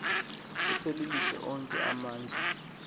uphelelise onke amandla